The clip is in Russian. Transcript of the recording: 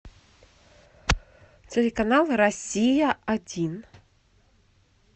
телеканал россия один